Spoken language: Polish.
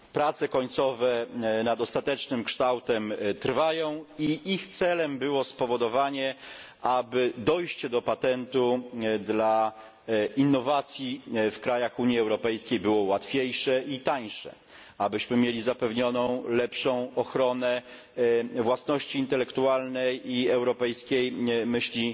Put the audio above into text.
Prace końcowe nad ostatecznym kształtem trwają i ich celem było spowodowanie, aby dojście do patentu dla innowacji w państwach Unii Europejskiej było łatwiejsze i tańsze, abyśmy mieli zapewnioną lepszą ochronę własności intelektualnej i europejskiej myśli